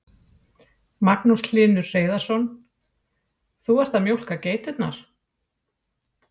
Magnús Hlynur Hreiðarsson: Þú ert að mjólka geiturnar?